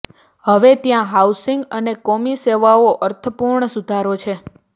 હવે ત્યાં હાઉસિંગ અને કોમી સેવાઓ અર્થપૂર્ણ સુધારો છે